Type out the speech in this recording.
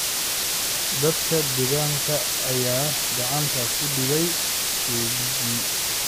Dadka deegaanka ayaa gacanta ku dhigay tuuggii.